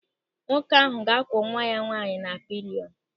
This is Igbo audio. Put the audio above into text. Nwoke ahụ ga-akwọ nwa ya nwaanyị na pịlịọnụ.